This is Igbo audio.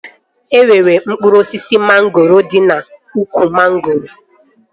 E nwere mkpụrụ osisi mangoro dị n'úkwù mangoro?